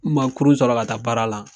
N man kurun sɔrɔ ka taa baara la.